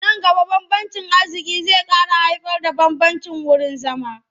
Nan gaba bambancin arziƙi zai ƙara haifarda bambancin wurin zama.